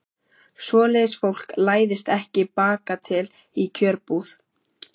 Svoleiðis fólk læðist ekki bakatil í kjörbúð.